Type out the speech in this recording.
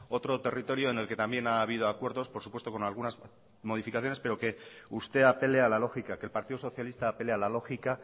otro territorio en el que también ha habido acuerdos por supuesto con algunas modificaciones pero que usted apele a la lógica que el partido socialista apele a la lógica